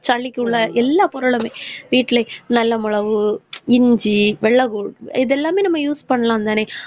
சளிக்குள்ள எல்லா பொருளுமே வீட்டுல நல்ல மொளவு, இஞ்சி, வெள்ளபூண்டு இதெல்லாமே நம்ம use பண்ணலாம் தானே.